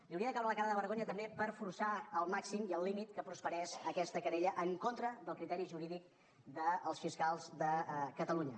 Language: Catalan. li hauria de caure la cara de vergonya també per forçar al màxim i al límit que prosperés aquesta querella en contra del criteri jurídic dels fiscals de catalunya